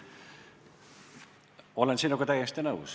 Olen sinuga täiesti nõus.